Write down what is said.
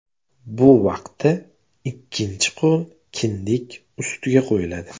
Bu vaqtda ikkinchi qo‘l kindik ustiga qo‘yiladi.